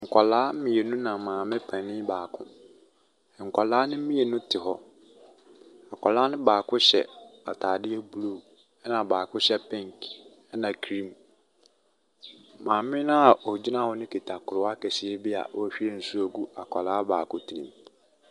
Nkwadaa mmienu na maame panin baako. Nkwadaa no mmienu te hɔ. akwadaa no baako hyɛ ataadeɛ blue ɛna baako hyɛ pink ɛna cream. Maame no a ɔgyina hɔ no kuta koraa kɛseɛ bi a ɔrehwie nsuo gu akwadaa baako tirim.